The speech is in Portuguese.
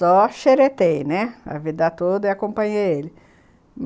Só xeretei né, a vida toda e acompanhei ele.